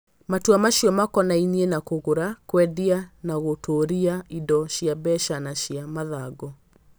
Matua macio makonainie na kũgũra, kwendia, kana gũtũũria indo cia mbeca na cia mathangũ.